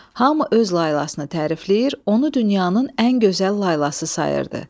Hamı öz laylasını tərifləyir, onu dünyanın ən gözəl laylası sayırdı.